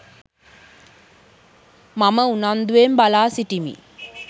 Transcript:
මම උනන්දුවෙන් බලා සිටිමි.